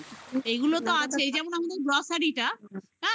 এইগুলো তো আছেই. যেমন আমাদের grocery টা. হ্যাঁ